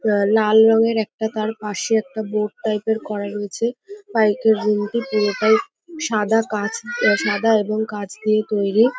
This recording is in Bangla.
লা লাল রঙের একটা তার পাশে একটা বোর্ড টাইপ -এর করা রয়েছে। বাইক -এর রুমটি পুরোটাই সাদা কাঁচ আহ সাদা এবং কাঁচ দিয়ে তৈরি।